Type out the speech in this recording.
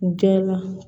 U gɛn la